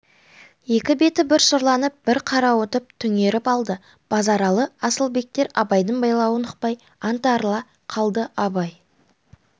екі беті бір сұрланып бір қарауытып түнеріп алды базаралы асылбектер абайдың байлауын ұқпай аңтарыла қалды абай